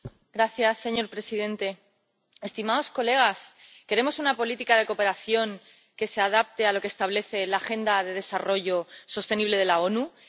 Señor presidente, estimados colegas, ¿queremos una política de cooperación que se adapte a lo que establece la Agenda de Desarrollo Sostenible de las Naciones Unidas?